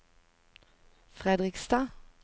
Fredrikstad